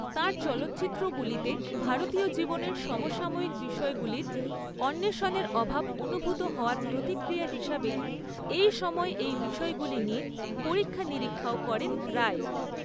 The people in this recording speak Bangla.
তাঁর চলচ্চিত্রগুলিতে ভারতীয় জীবনের সমসাময়িক বিষয়গুলির অণ্বেষণের অভাব অনুভূত হওয়ার প্রতিক্রিয়া হিসাবে এই সময়ে এই বিষয়গুলি নিয়ে পরীক্ষা নিরীক্ষাও করেন রায়।